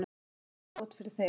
Þetta lítur illa út fyrir þig